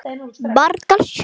Hún bjargar sér.